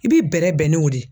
I b'i bɛrɛ bɛn n'o de ye.